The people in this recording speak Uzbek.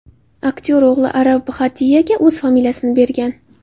Aktyor o‘g‘li Arav Bhatiyaga o‘z familiyasini bergan.